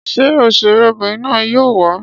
Ṣé òṣèré obìnrin na yóò wà?